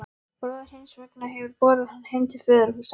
Bróðir hins vegna hefur borið hann heim til föðurhúsa.